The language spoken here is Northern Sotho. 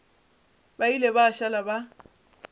ba ile ba šala ba